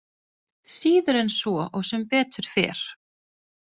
Síður en svo og sem betur fer.